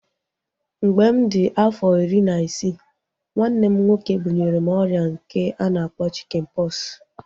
Mgbe mụ di afọ iri na isii, nwanne m nwoke bunyere m ọrịa nke a na-akpọ chikin pọksi